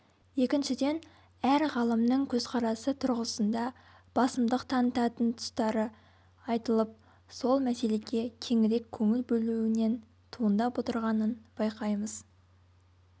екіншіден әр ғалымның көзқарасы тұрғысында басымдық танытатын тұстары айтылып сол мәселеге кеңірек көңіл бөлуінен туындап отырғанын байқаймыз